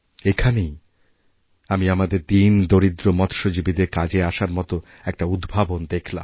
এখানেই আমি আমাদের দীন দরিদ্র মৎস্যজীবীদের কাজে আসারমতো একটা উদ্ভাবন দেখলাম